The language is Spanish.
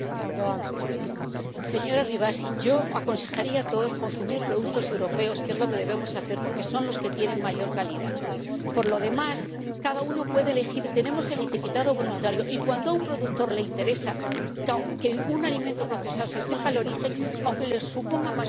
Señora Rivasi, yo aconsejaría a todos consumir productos europeos, que es lo que debemos hacer, porque son los que tienen mayor calidad. Por lo demás, cada uno puede elegir tenemos el etiquetado voluntario y cuando a un productor le interesa que se sepa el origen de un alimento procesado, aunque le suponga más costes, lo hace.